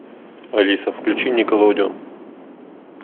алиса включи никелодион